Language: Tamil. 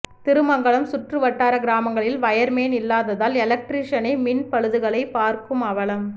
திருமங்கலம் சுற்றுவட்டார கிராமங்களில் வயர்மேன் இல்லாததால் எலக்ட்ரீசனே மின் பழுதுகளை பார்க்கும் அவலம்